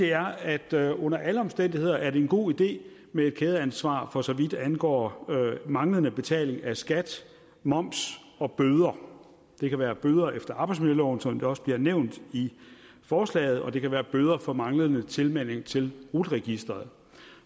er at det under alle omstændigheder er en god idé med et kædeansvar for så vidt angår manglende betaling af skat moms og bøder det kan være bøder efter arbejdsmiljøloven som det også bliver nævnt i forslaget og det kan være bøder for manglende tilmelding til rut registeret